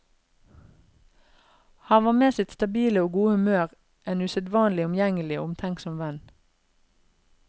Han var med sitt stabile og gode humør en usedvanlig omgjengelig og omtenksom venn.